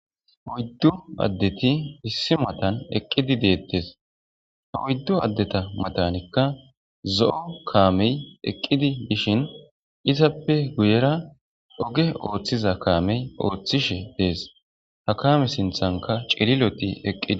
oyddu addeti issi mattan eqqidi deettees ha oyddu addetta matanikka zo'o kaamey eqqidi bshishin izappe guyera oge ooththiza kaamey ooththishshe dees ha kaame siinthankka ciliiloti eqqida